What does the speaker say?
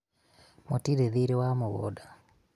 mũtiri thiĩrĩ wamũgũnda